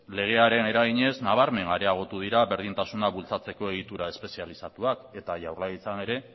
legearen eraginez nabarmen areagotu dira berdintasuna bultzatzeko egitura espezializatuak eta jaurlaritzan ere